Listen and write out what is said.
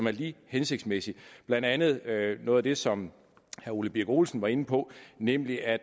er lige hensigtsmæssigt blandt andet noget af det som herre ole birk olesen var inde på nemlig at